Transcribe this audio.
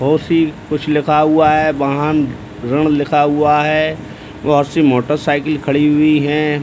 कुछ लिखा हुआ है | वाहन ऋण लिखा हुआ है | बहुत सी मोटरसाइकिल खड़ी हुई है |